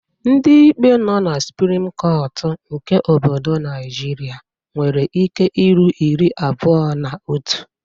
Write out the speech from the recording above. Ndị ikpe nọ na suprim kọtụ nke obodo Naịjirịa nwere ike iru iri abuo na otu.